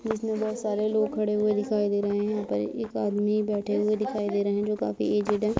जिसमे बहुत सारे लोग खड़े हुए दिखाई दे रहे हैं यहाँ पर एक आदमी बैठे हुए दिखाई दे रहे है जो काफ़ी एजेड हैं।